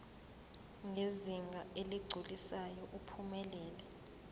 ngezinga eligculisayo uphumelele